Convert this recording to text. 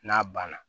N'a banna